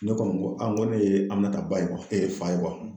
Ne kɔni ko aa n ko ne ye Aminata ba ye fa ye